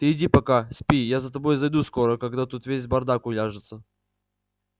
ты иди пока спи я за тобой зайду скоро когда тут весь бардак уляжется